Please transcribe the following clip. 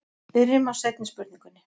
Byrjum á seinni spurningunni.